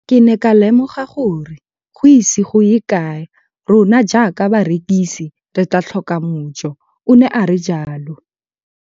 Ke ne ka lemoga gore go ise go ye kae rona jaaka barekise re tla tlhoka mojo, o ne a re jalo.